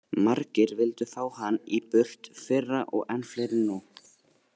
Margir vildu fá hann í burt fyrra og enn fleiri nú.